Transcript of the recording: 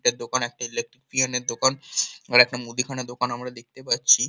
একটা দোকান একটা ইলেকট্রিশিয়ান এর দোকান মুদিখানার দোকান আমরা দেখতে পাচ্ছি।